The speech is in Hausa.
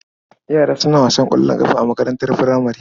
Yara suna wasan ƙwallon ƙafa a makarantar furamare.